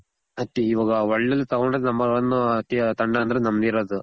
but ಇವಾಗ world ಅಲ್ಲಿ ತಗೊಂಡಿದ್ number one ತಂಡ ಅಂದ್ರೆ ನಮ್ದಿರೋದು.